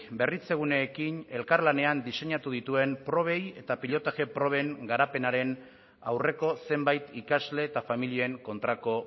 berritzeguneekin elkarlanean diseinatu dituen probei eta pilotaje proben garapenaren aurreko zenbait ikasle eta familien kontrako